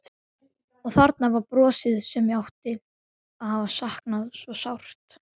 Og þarna var brosið sem ég hafði saknað svo sárt.